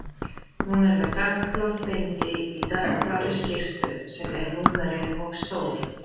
Hún er með dökkblátt bindi í dökkblárri skyrtu sem er númeri of stór.